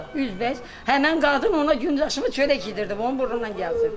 Üzbəüz həmin qadın ona gündə aşımı, çörəyi yedirdim, onun burnundan gəlir.